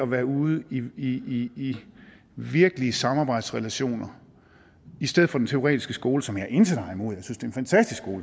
være ude i virkelige samarbejdsrelationer i stedet for den teoretiske skole som jeg intet har imod